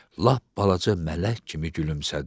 Lap balaca mələk kimi gülümsədi.